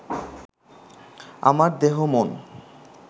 আমার দেহ মন